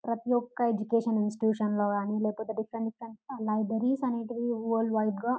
ప్రతియొక్క education ఇంస్టిట్యూషన్లో గాని లేకపోతె డిఫరెంట్ డిఫరెంటు గా లైబ్రరీస్ అనేటివి వరల్డ్వైడ్గా --